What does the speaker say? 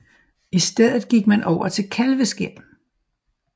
I stedet gik man over til kalveskind